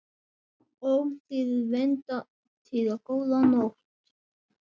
Ómþýðir vindar boða góða nótt.